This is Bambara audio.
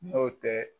N'o tɛ